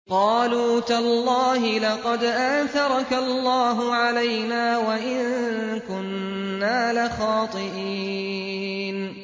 قَالُوا تَاللَّهِ لَقَدْ آثَرَكَ اللَّهُ عَلَيْنَا وَإِن كُنَّا لَخَاطِئِينَ